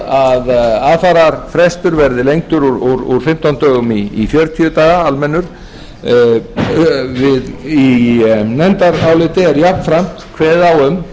það er lagt til að aðfararfrestur úr fimmtán dögum í fjörutíu daga almennur í nefndaráliti er jafnframt kveðið á um eða